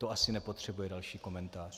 To asi nepotřebuje další komentář.